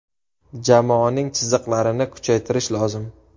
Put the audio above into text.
Jamoaning chiziqlarini kuchaytirish lozim.